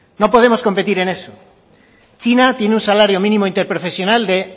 no podemos competir en eso china tiene un salario mínimo interprofesional de